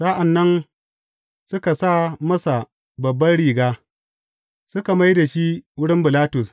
Sa’an nan, suka sa masa babban riga, suka mai da shi wurin Bilatus.